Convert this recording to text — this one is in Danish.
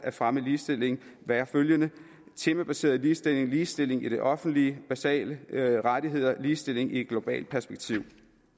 at fremme ligestilling være følgende temabaseret ligestilling ligestilling i det offentlige basale rettigheder ligestilling i et globalt perspektiv